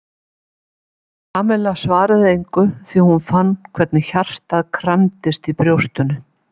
Kamilla svaraði engu því hún fann hvernig hjartað kramdist í brjóstinu.